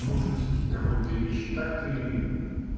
нужность какой-то вещи так ты